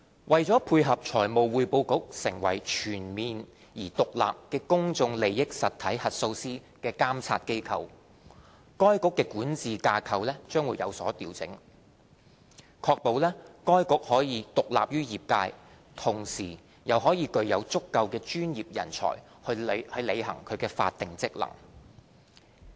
為配合財務匯報局成為全面而獨立的公眾利益實體核數師監察機構，該局的管治架構將有所調整，確保該局既獨立於業界，同時又具有足夠的專業人才以履行其法定職能。